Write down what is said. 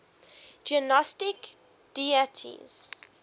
gnostic deities